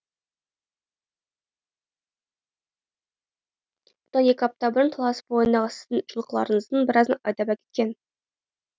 бұдан екі апта бұрын талас бойындағы сіздің жылқыларыңыздың біразын айдап әкеткен